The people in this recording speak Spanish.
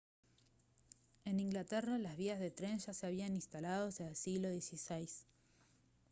en inglaterra las vías de tren ya se habían instalado hacia el siglo xvi